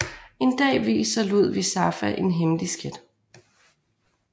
En dag viser Ludvig Safa en hemmelig skat